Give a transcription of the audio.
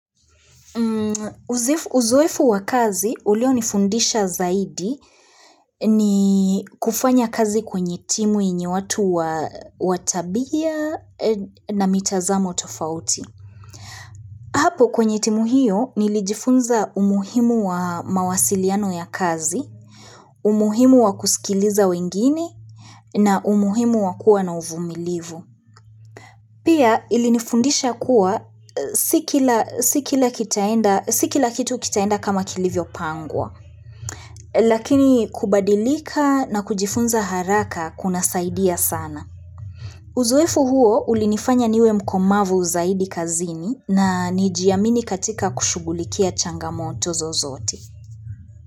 Uzoefu wa kazi ulio nifundisha zaidi ni kufanya kazi kwenye timu yenye watu wa tabia na mitazamo tofauti. Hapo kwenye timu hiyo nilijifunza umuhimu wa mawasiliano ya kazi, umuhimu wa kusikiliza wengine na umuhimu wa kuwa na uvumilivu. Pia ilinifundisha kuwa si kila si kila kitu kitaenda kama kilivyo pangwa, lakini kubadilika na kujifunza haraka kuna saidia sana. Uzoefu huo ulinifanya niwe mkomavu zaidi kazini na nijiamini katika kushughulikia changamoto zozote.